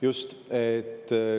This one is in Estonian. Just!